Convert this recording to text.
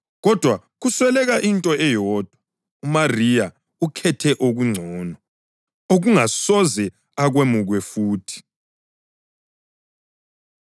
kodwa kusweleka into eyodwa. UMariya ukhethe okungcono, okungasoze akwemukwe futhi.”